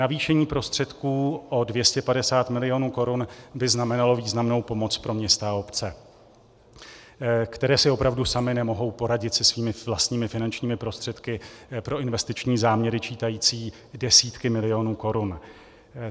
Navýšení prostředků o 250 mil. korun by znamenalo významnou pomoc pro města a obce, které si opravdu samy nemohou poradit se svými vlastními finančními prostředky pro investiční záměry čítající desítky milionů korun.